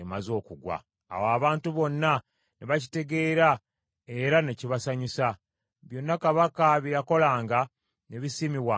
Awo abantu bonna ne bakitegeera era ne kibasanyusa. Byonna kabaka bye yakolanga ne bisiimibwanga abantu.